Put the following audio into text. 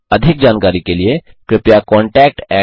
अधिक जानकारी के लिए कृपया contactspoken tutorialorg पर लिखें